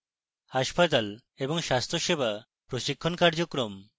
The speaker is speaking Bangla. hospital এবং স্বাস্থ্যসেবা প্রশিক্ষণ কার্যক্রম